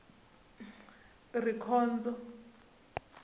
rikhondzo